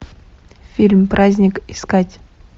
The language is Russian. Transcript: фильм праздник искать